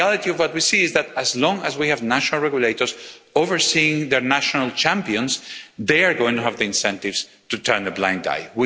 The reality of what we see is that, as long as we have national regulators overseeing their national champions, they are going to have the incentive to turn a blind eye.